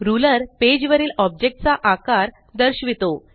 ruler page वरील object चा आकार दर्शवितो